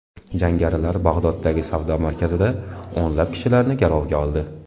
Jangarilar Bag‘doddagi savdo markazida o‘nlab kishilarni garovga oldi.